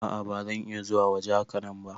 A'a ba zan iya zuwa waje hakanan ba.